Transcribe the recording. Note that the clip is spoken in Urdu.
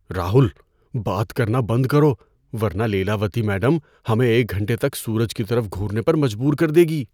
راہل! بات کرنا بند کرو ورنہ لیلاوتی میڈم ہمیں ایک گھنٹے تک سورج کی طرف گھورنے پر مجبور کر دے گی۔